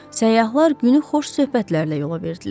Səyyahlar günü xoş söhbətlərlə yola verdilər.